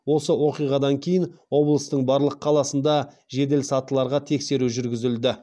осы оқиғадан кейін облыстың барлық қаласында желесатыларға тексеру жүргізілді